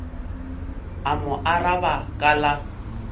a mo araba ka la